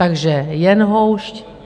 Takže jen houšť.